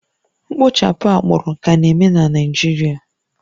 Mkpochapụ agbụrụ ka na-eme na Naịjirịa